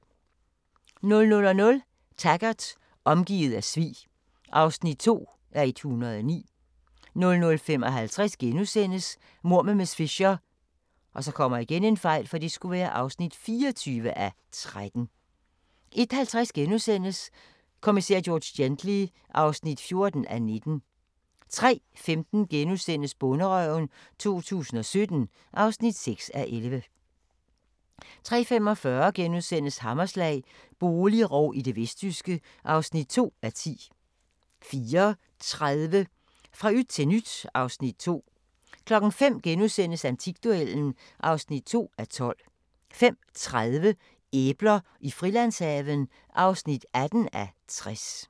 00:00: Taggart: Omgivet af svig (2:109) 00:55: Mord med miss Fisher (24:13)* 01:50: Kommissær George Gently (14:19)* 03:15: Bonderøven 2017 (6:11)* 03:45: Hammerslag – boligrov i det vestjyske (2:10)* 04:30: Fra yt til nyt (Afs. 2) 05:00: Antikduellen (2:12)* 05:30: Æbler i Frilandshaven (18:60)